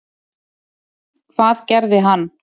Hvað gerði hann?